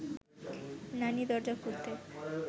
নানি দরজা খুলতে